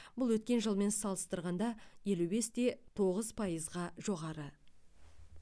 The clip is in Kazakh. бұл өткен жылмен салыстырғанда елу бес те тоғыз пайызға жоғары